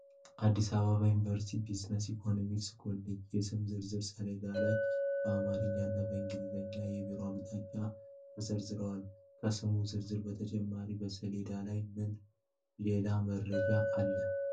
አዲስ አበባ ዩኒቨርሲቲ የቢዝነስና ኢኮኖሚክስ ኮሌጅ የስም ዝርዝር ሰሌዳ ላይ በአማርኛና በእንግሊዝኛ የቢሮ አቅጣጫዎች ተዘርዝረዋል። ከስሙ ዝርዝር በተጨማሪ በሰሌዳው ላይ ምን ሌላ መረጃ አለ?